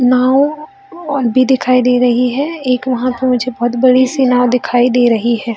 नाव और भी दिखाई दे रही है एक वहाँ पे नीचे बहुत बड़ी सी नाव दिखाई दे रही है ।